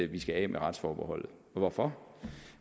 vi skal af med retsforbeholdet hvorfor